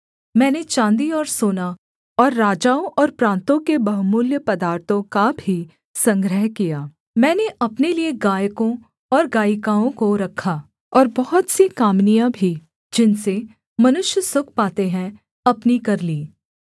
मैंने चाँदी और सोना और राजाओं और प्रान्तों के बहुमूल्य पदार्थों का भी संग्रह किया मैंने अपने लिये गायकों और गायिकाओं को रखा और बहुत सी कामिनियाँ भी जिनसे मनुष्य सुख पाते हैं अपनी कर लीं